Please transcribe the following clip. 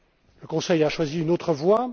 Le Conseil a choisi une autre